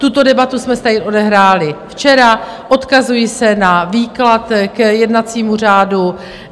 Tuto debatu jsme si tady odehráli včera, odkazuji se na výklad k jednacímu řádu.